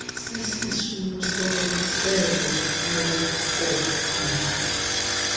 sisisulu selo lokonya